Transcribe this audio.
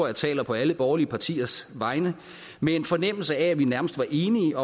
jeg taler på alle borgerlige partiers vegne med en fornemmelse af at vi nærmest var enige